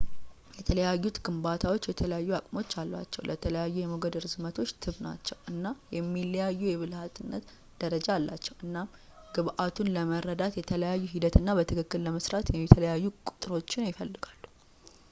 የተለያዩት ግንባታዎች የተለያዩ አቅሞች አሏቸው ለተለያዩ የሞገድ ርዝመቶች ትብ ናቸው እና የሚለያይ የብልህነት ደረጃ አላቸው እናም ግብዓቱን ለመረዳት የተለያየ ሂደት እና በትክክል ለመስራት የተለያዩ ቁጥሮችን ይፈልጋሉ